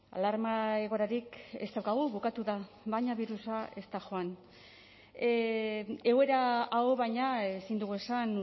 alarma egoerarik ez daukagu bukatuta baina virusa ez da joan egoera hau baina ezin dugu esan